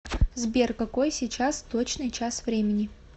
сбер какой сейчас точный час времени